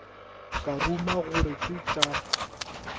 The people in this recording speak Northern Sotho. ka ruma gore ke tša